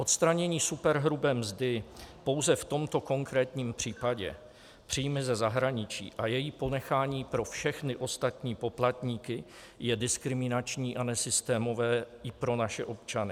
Odstranění superhrubé mzdy pouze v tomto konkrétním případě - příjmy ze zahraničí - a její ponechání pro všechny ostatní poplatníky je diskriminační a nesystémové i pro naše občany.